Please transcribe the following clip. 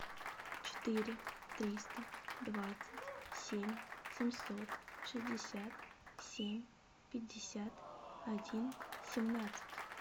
четыре триста двадцать семь семьсот шестьдесят семь пятьдесят один семнадцать